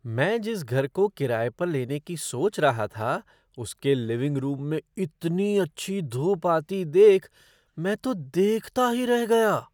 मैं जिस घर को किराए पर लेने की सोच रहा था, उसके लिविंग रूम में इतनी अच्छी धूप आती देख मैं तो देखता ही रह गया।